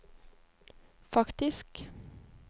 faktisk